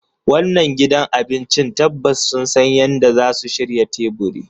Wannan gidan cin abinci tabbas sun san yadda zasu shirya teburi